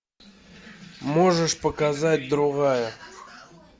можешь показать другая